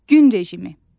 Gün rejimi.